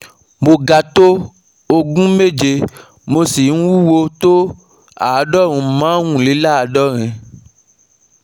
mo ga tó ogún méje, mo sì ń wúwo tó àádọ́rùn-ún márùnléláàádọ́rin